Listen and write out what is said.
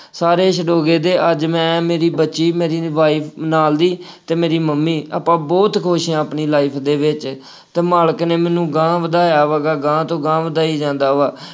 ਸਾਰੇ ਛੁਡੋ ਦੇ ਗਏ ਦੇ, ਅੱਜ ਮੈਂ ਮੇਰੀ ਬੱਚੀ, ਮੇਰੀ wife ਨਾਲ ਦੀ ਅਤੇ ਮੇਰੀ ਮੰਮੀ ਆਪਾਂ ਬਹੁਤ ਖੁਸ਼ ਹਾਂ। ਆਪਣੀ life ਦੇ ਵਿੱਚ ਅਤੇ ਮਾਲਕ ਨੇ ਮੈਨੂੰ ਅਗਾਂਹ ਵਧਾਇਆ ਹੈਗਾ ਵਾ, ਅਗਾਂਹ ਤੋ ਅਗਾਂਹ ਵਧਾਈ ਜਾਂਦਾ ਵਾ।